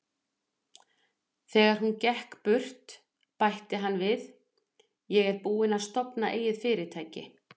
Þegar hún gekk burt, bætti hann við: Ég er búinn að stofna eigið fyrirtæki.